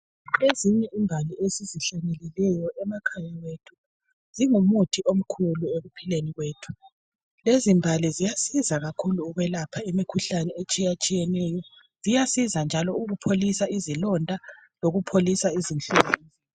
Ezinye imbali esizihlanyelileyo emakhaya ethu, zingumuthi omkhulu ekuphileni kwethu. Lezimbali ziyasiza kakhulu ekulapheni, imikhuhlane, etshiyatshiyeneyo. Ziyasiza ukupholisa izilonda, lokupholiseni izinhlungu.